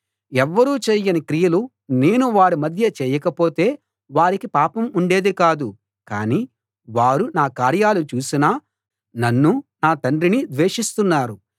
ఎవ్వరూ చెయ్యని క్రియలు నేను వారి మధ్య చేయకపోతే వారికి పాపం ఉండేది కాదు కాని వారు నా కార్యాలు చూసినా నన్నూ నా తండ్రినీ ద్వేషిస్తున్నారు